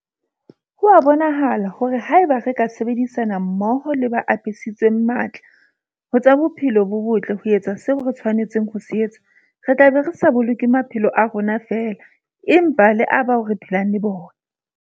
Ho a bonahala hore haeba re ka sebedisana mmoho le ba apesitsweng matla ho tsa bophelo bo botle ho etsa seo re tshwanetseng ho se etsa, re tla be re sa boloke maphelo a rona feela, empa le a bao re phelang le bona.